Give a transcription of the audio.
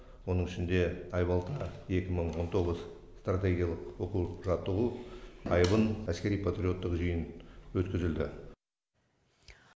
оның ішінде айбалта екі мың он тоғыз стратегиялық оқу жаттығу айбын әскери патриоттық жиын өткізілді